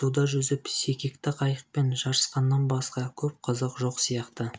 суда жүзіп секекті қайықпен жарысқаннан басқа көп қызық жоқ сияқты